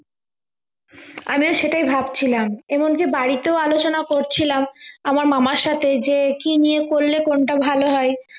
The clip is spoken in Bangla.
আমিও সেটাই ভাবছিলাম এমন কি বাড়িতেও আলোচনা করছিলাম আমার মামার সাথে যে কি নিয়ে পরলে কোনটা ভাল হয়